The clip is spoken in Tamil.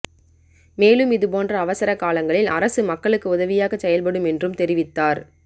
மேலும் இதுபோன்ற அவசரக் காலங்களில் அரசு மக்களுக்கு உதவியாகச் செயல்படும் என்றும் தெரிவித்தார்